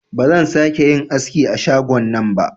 Ba zan sa ke yin aski a shagon nan ba